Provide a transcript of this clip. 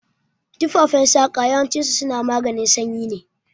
Tufafen saƙa yawancin su suna maganin sanyi ne